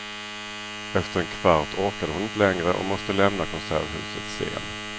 Efter en kvart orkade hon inte längre och måste lämna konserthusets scen.